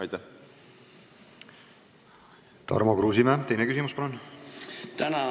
Tarmo Kruusimäe, teine küsimus, palun!